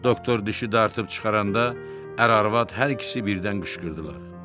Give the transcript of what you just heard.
Doktor dişi dartıb çıxaranda ər-arvad hər ikisi birdən qışqırdılar.